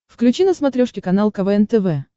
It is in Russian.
включи на смотрешке канал квн тв